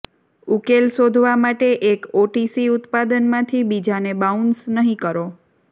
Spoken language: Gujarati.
ઉકેલ શોધવા માટે એક ઓટીસી ઉત્પાદનમાંથી બીજાને બાઉન્સ નહીં કરો